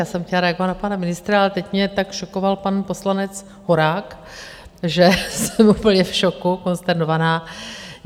Já jsem chtěla reagovat na pana ministra, ale teď mě tak šokoval pan poslanec Horák, že jsem úplně v šoku, konsternovaná.